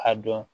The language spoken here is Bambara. A dɔn